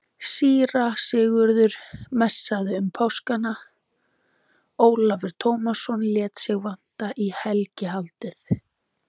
Síra Sigurður messaði um páskana, Ólafur Tómasson lét sig vanta í helgihaldið.